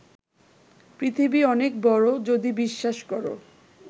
পৃথিবী অনেক বড় যদি বিশ্বাস কর